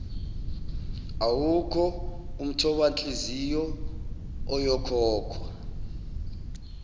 awukho umthobanhliziyo oyokhokhwa